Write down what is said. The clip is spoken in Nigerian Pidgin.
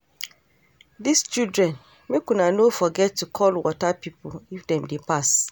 Dis children, make una no forget to call water people if dem dey pass